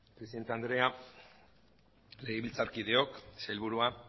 presidente andrea legebiltzarkideok sailburua